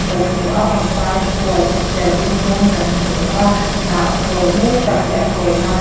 kan hmu a pangpar khawi serthlum rawng kan hmu a hnah khawi mai tak leh a khawina --